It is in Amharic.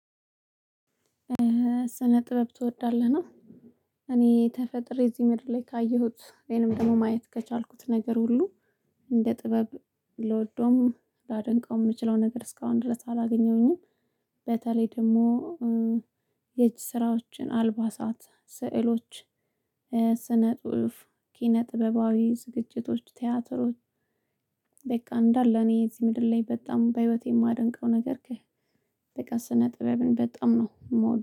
ስነ ጥበብ ትወዳለህ ነው? እኔ ተፈጥሬ እዚህ ምድር ላይ ካየሁት ወይንም ደግሞ ማየት ከቻልኩት ነገር ሁሉ እንደ ጥበብ ልወደውም ላደንቀው ምችለው ነገር እስካሁን ድረስ አላገኘሁኝም። በተለይ ደግሞ የእጅ ስራዎችን፣ አልባሳት፣ ስዕሎች፣ ስነ ጽሁፍ፣ ኪነ ጥበባዊ ዝግጅቶች፣ ቲያትሮች በቃ እንዳለ እኔ እዚህ ምድር ላይ በጣም በህይወቴ ማደንቀው ነገር ከህ። በቃ ስነ ጥበብን በጣም ነው የምወደው